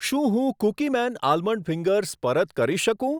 શું હું Cookieman almond fingers પરત કરી શકું?